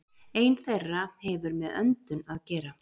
Ein þeirra hefur með öndun að gera.